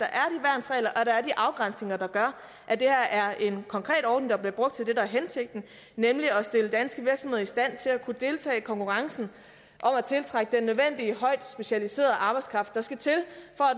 afgrænsninger der gør at det her er en konkret ordning der bliver brugt til det der er hensigten nemlig at stille danske virksomheder i stand til at kunne deltage i konkurrencen om at tiltrække den nødvendige højtspecialiserede arbejdskraft der skal til